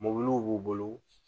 Mɔbiliw b'u bolo